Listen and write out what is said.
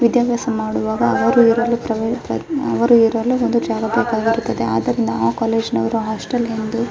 ವಿದ್ಯಾಬ್ಯಾಸ ಮಾಡುವಾಗ ಅವರು ಇವರು ಅವರು ಇವರಲ್ಲಿ ಒಂದು ಜಾಗ ಬೆಕಾಗಿರುತ್ತದೆ ಅದರಿಂದ ಆ ಕಾಲೇಜು ನವರು ಹಾಸ್ಟೆಲ್ ಎಂದು --